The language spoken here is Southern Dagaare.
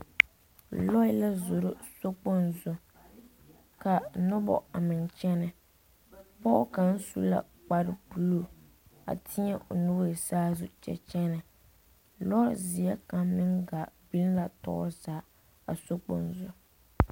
Loɛ la zoro sokpoŋ zuŋ ka noba a meŋ kyɛnɛ pɔge kaŋa su la kpare buluu a teɛ o nuuri saazu kyɛ kyɛnɛ lozeɛ kaŋa meŋ gaa biŋ la tɔɔre zaa a sokpoŋ zu.